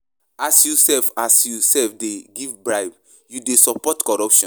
As you sef As you sef dey give bribe, you dey support corruption.